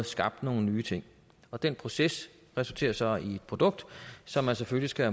skabt nogle nye ting og den proces resulterer så i et produkt som man selvfølgelig skal